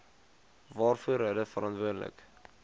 waarvoor hulle verantwoordelik